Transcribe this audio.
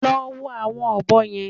Lọ wo àwọn ọ̀bọ yẹn!